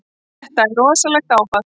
Þetta er rosalegt áfall.